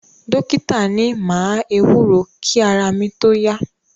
Dọ́kítà ni máa ewúro kí ara mi tó yá.